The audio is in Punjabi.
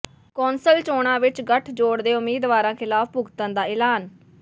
ਕੌਂਸਲ ਚੋਣਾਂ ਵਿੱਚ ਗੱਠਜੋੜ ਦੇ ਉਮੀਦਵਾਰਾਂ ਖਿਲਾਫ਼ ਭੁਗਤਣ ਦਾ ਐਲਾਨ